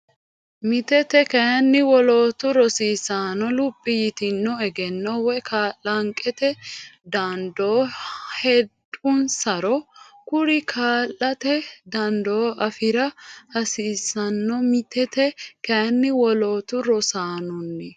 Mitete kayinni wolootu rosaanonni luphi yitino egenno woy kalanqete dandoo heedhunsaro kuri kaa late dandoo afi ra hasiissanno Mitete kayinni wolootu rosaanonni.